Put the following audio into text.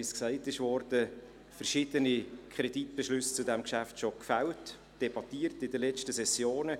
Wie erwähnt worden ist, debattierten wir zu diesem Geschäft bereits in vergangenen Sessionen und fällten verschiedene Kreditbeschlüsse.